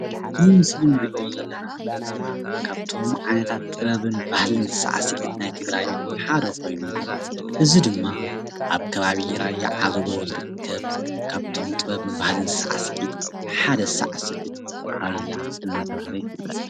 እዚ ምሰሊ ንሪኦ ዘለና ካብቶም ዓይነታት ጥበብን ባህሊን ሳዕስዒት ናይ ትግራይ ሓደ ኾይኑ ፤ እዚ ድማ አብ ከባቢ ራያ ዓዘቦ ዝርከብ ካብቶም ጥበብን ባህሊን ሳዕስዒት ሓደ ሳዕስዒት ራያ እናተብሃለ ይፍለጥ፡፡